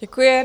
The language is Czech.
Děkuji.